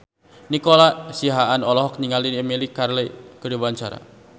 Nico Siahaan olohok ningali Emilia Clarke keur diwawancara